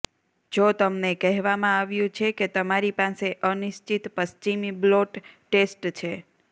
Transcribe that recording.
જો તમને કહેવામાં આવ્યું છે કે તમારી પાસે અનિશ્ચિત પશ્ચિમી બ્લોટ ટેસ્ટ છે